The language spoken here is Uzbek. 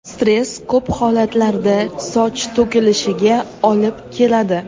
Stress ko‘p holatlarda soch to‘kilishiga olib keladi.